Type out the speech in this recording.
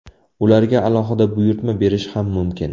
Ularga alohida buyurtma berish ham mumkin.